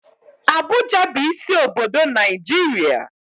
Abuja bụ isi obodo Naijiria.